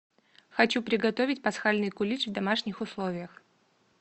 хочу приготовить пасхальный кулич в домашних условиях